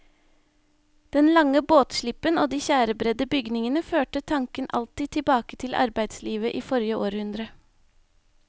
Den lange båtslippen og de tjærebredde bygningene førte tanken alltid tilbake til arbeidslivet i forrige århundre.